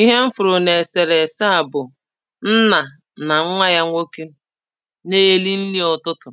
ihe m hụrụ n’èsèrèsè à bụ̀ nnà nà nwa ya nwoke [paues]na-eri nri ụ̀tụtụ̀